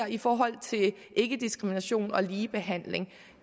i forhold til ikkediskrimination og ligebehandling